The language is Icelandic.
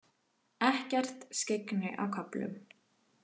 Ekkert skyggni á köflum